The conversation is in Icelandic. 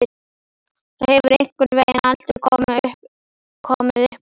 Það hefur einhvern veginn aldrei komið uppá.